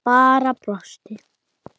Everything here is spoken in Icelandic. Bara brosti.